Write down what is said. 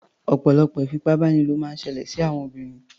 Ọ̀pọ̀lọpọ̀ ìfipábánilò máa ń ṣẹlẹ̀ sí àwọn obìnrin.